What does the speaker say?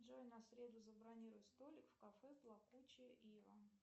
джой на среду забронируй столик в кафе плакучая ива